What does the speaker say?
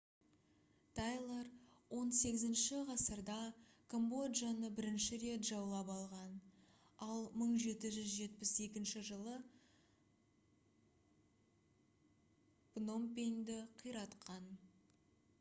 тайлар 18-ші ғасырда камбоджаны бірнеше рет жаулап алған ал 1772 жылы пномпеньді қиратқан